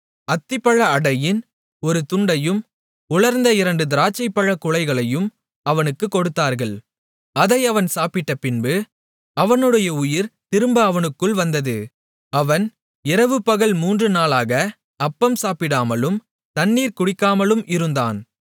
அத்திப்பழ அடையின் ஒரு துண்டையும் உலர்ந்த இரண்டு திராட்சைப்பழக் குலைகளையும் அவனுக்குக் கொடுத்தார்கள் அதை அவன் சாப்பிட்டபின்பு அவனுடைய உயிர் திரும்ப அவனுக்குள் வந்தது அவன் இரவு பகல் மூன்று நாளாக அப்பம் சாப்பிடாமலும் தண்ணீர் குடிக்காமலும் இருந்தான்